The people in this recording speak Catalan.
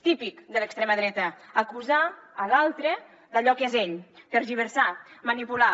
típic de l’extrema dreta acusar l’altre d’allò que és ell tergiversar manipular